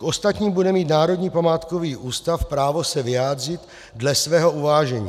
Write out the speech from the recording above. K ostatním bude mít Národní památkový ústav právo se vyjádřit dle svého uvážení.